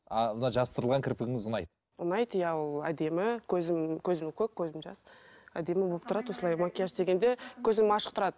а мына жабыстырылған кірпігіңіз ұнайды ұнайды иә ол әдемі көзім көзім көк көзім жас әдемі болып тұрады осылай макияж істегенде кезде көзім ашық тұрады